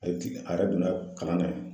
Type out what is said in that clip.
Ɛti a yɛrɛ donna kalan na yen nɔ